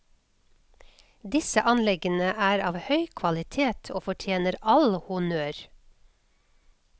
Disse anleggene er av høy kvalitet og fortjener all honnør.